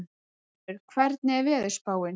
Unnur, hvernig er veðurspáin?